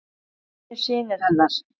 Því hinir synir hennar